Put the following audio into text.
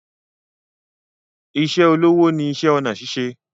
Ìṣe olówó ni iṣẹ́ ọnà ṣíṣe